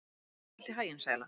Gangi þér allt í haginn, Sæla.